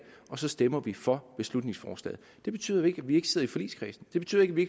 og så stemmer vi for beslutningsforslaget det betyder jo ikke at vi ikke sidder i forligskredsen det betyder ikke at vi